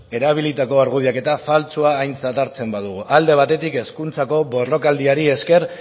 erabilitako argudioak eta faltsua aintzat hartzen badugu alde batetik hezkuntzako borrokaldiari esker